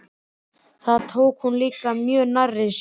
Það tók hún líka mjög nærri sér.